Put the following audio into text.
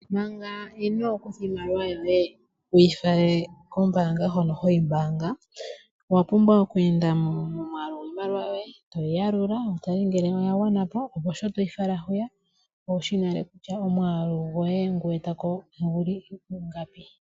Manga inoo kutha iimaliwa yoye wu yi fale koombaanga hono ho yi mbaanga owa pumbwa oku enda mo momwaalu gwiimaliwa yoye, to yi yalula wu tale ngele oya gwana po, opo shi toyi fala kombaanga owu shi nale kutya omwaalu goye ngoka we eta ko ogu li pu ingapi.